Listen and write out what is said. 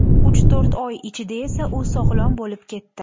Uch-to‘rt oy ichida esa u sog‘lom bo‘lib ketdi.